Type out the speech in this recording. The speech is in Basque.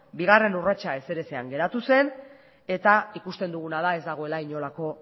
bigarren urratsa ezer ezean geratu zen eta ikusten duguna da ez dagoela inolako